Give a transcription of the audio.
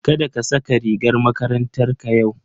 Kada ka saka rigar makarantarka yau.